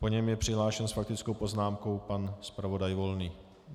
Po něm je přihlášen s faktickou poznámkou pan zpravodaj Volný.